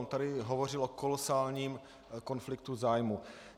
On tady hovořil o kolosálním konfliktu zájmů.